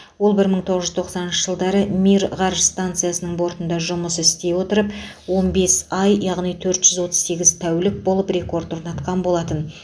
ол бір мың тоғыз жүз тоқсаныншы жылдары мир ғарыш станциясының бортында жұмыс істей отырып он бес ай яғни төрт жүз отыз сегіз тәулік болып рекорд орнатқан болатын